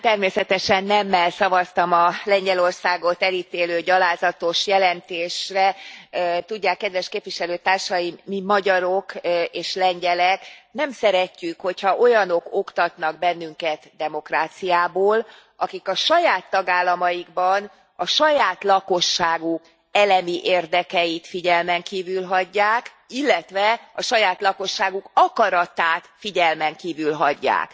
Természetesen nemmel szavaztam a Lengyelországot elítélő gyalázatos jelentésre, tudják, kedves képviselőtársaim, mi magyarok és lengyelek nem szeretjük, hogy ha olyanok oktatnak bennünket demokráciából, akik a saját tagállamaikban, a saját lakosságuk elemi érdekeit figyelmen kívül hagyják, illetve a saját lakosságuk akaratát figyelmen kívül hagyják.